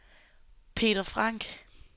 Peter Frank